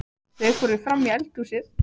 Þau fóru frammí eldhúsið.